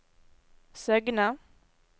Søgne